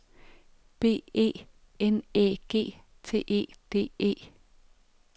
B E N Æ G T E D E